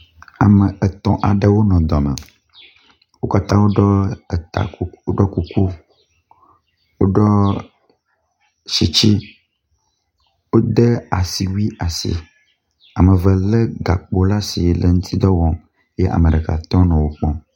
Ame etɔ̃ aɖewo nɔ dɔme. Wo katã woɖɔ eta kuku woɖɔ kuku. Woɖɔ tsitsi, wode asiwui asi. Ame eve lé gakpo le asi le eŋuti dɔ wɔm ye ame ɖeka tɔ nɔ wo kpɔm.